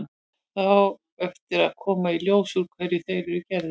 Það á eftir að koma í ljós úr hverju þeir eru gerðir.